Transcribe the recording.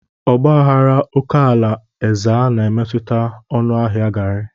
Ọgba aghara oke ala Ezza na-emetụta ọnụ ahịa garri.